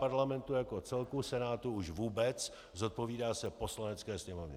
Parlamentu jako celku, Senátu už vůbec, zodpovídá se Poslanecké sněmovně.